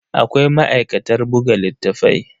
Akwai ma'aikatar buga littattafai.